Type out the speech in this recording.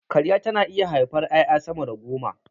Karya tana iya haifar ƴaƴa sama da goma